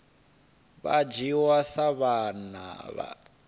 vha dzhiwa sa vhana vha